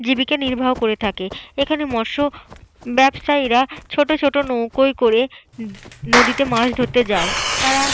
জীবিকা নির্বাহ করে থাকে। এখানে মৎস ব্যবসায়ীরা ছোট ছোট নৌকোয় করে নদীতে মাছ ধরতে যায়। তারা।